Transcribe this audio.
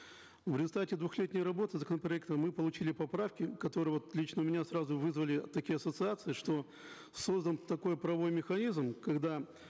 в результате двухлетней работы законопроекта мы получили поправки которые вот лично у меня сразу вызвали такие ассоциации что создан такой правовой механизм когда